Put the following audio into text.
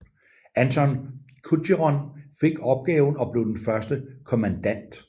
Anthon Coucheron fik opgaven og blev den første kommandant